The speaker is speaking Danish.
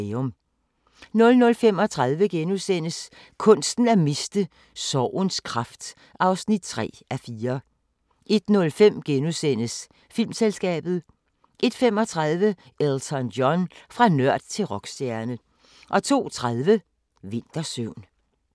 00:35: Kunsten at miste: Sorgens kraft (3:4)* 01:05: Filmselskabet * 01:35: Elton John – fra nørd til rockstjerne 02:30: Vintersøvn